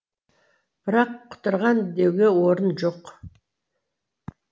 бірақ құтырған деуге орын жоқ